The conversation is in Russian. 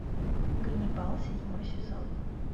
ганнибал седьмой сезон